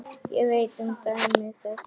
Ég veit um dæmi þess.